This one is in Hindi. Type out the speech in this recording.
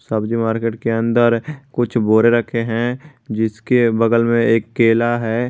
सब्जी मार्केट के अंदर कुछ बोरे रखे है जिसके बगल में एक केला है।